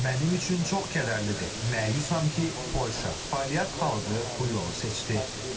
Mənim üçün çox kədərlidir, məyusam ki, Polşa, Polyak xalqı bu yolu seçdi.